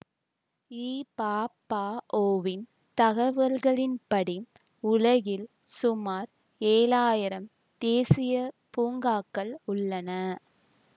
இபாபஒ வின் தகவல்களின்படி உலகில் சுமார் ஏழாயிரம் தேசிய பூங்காக்கள் உள்ளன